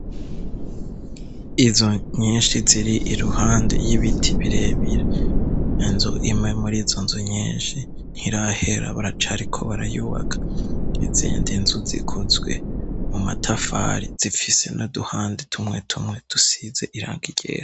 Izo nyinshi ziri i ruhande y'ibiti birebire nzo imwe muri zo nzo nyinshi ntirahera baracariko barayubaka izindi nzu zikozwe mu matafari zifise no duhande tumwe tumwe dusize iranga igera.